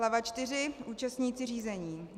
Hlava IV. Účastníci řízení.